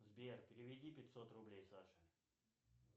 сбер переведи пятьсот рублей саше